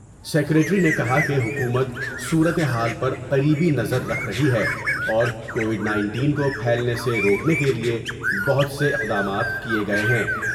secretary نے کہا کہ حکومت صورت حال پر قریبی نظر رکھ رہی ہے اورکووڈ نائنٹین کو پھیلنے سے روکنے کے لئے بہت سے اقدامات کئے گئے ہیں